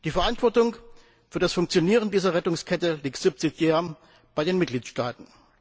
Die Verantwortung für das Funktionieren dieser Rettungskette liegt subsidiär bei den Mitgliedstaaten.